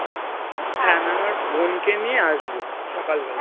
হ্যাঁ আমি আমার বোনকে নিয়ে আসবো সকালবেলা